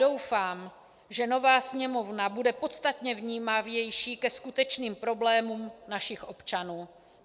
Doufám, že nová Sněmovna bude podstatně vnímavější ke skutečným problémům našich občanů.